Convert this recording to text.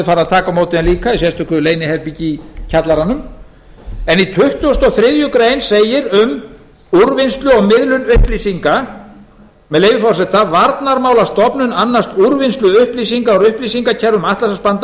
farið að taka á móti slíkum upplýsingum í sérstöku leyniherbergi í kjallaranum en í tuttugasta og þriðju grein segir um úrvinnslu og miðlun upplýsinga með leyfi forseta varnarmálastofnun annast úrvinnslu upplýsinga úr upplýsingakerfum